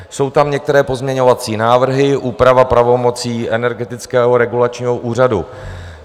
Jsou tam některé pozměňovací návrhy, úprava pravomocí Energetického regulačního úřadu.